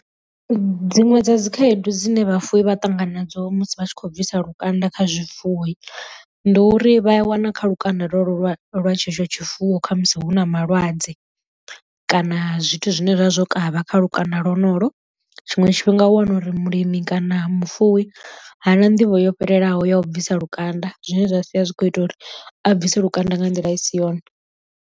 Dziṅwe dza dzi khaedu dzine vhafuwi vha ṱangana nadzo musi vha tshi khou bvisiwa lukanda kha zwifuwo, ndi uri vha a wana kha lukanda lwa lwa lwa tshetsho tshifuwo khamusi hu na malwadze kana zwithu zwine zwa zwo kavha kha lukanda lonolo tshiṅwe tshifhinga u wana uri mulimi kana mufuwi ha na nḓivho yo fhelelaho ya u bvisa lukanda zwine zwa sia zwi khou ita uri a bvise lukanda nga nḓila i si yone.